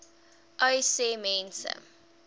uys sê mense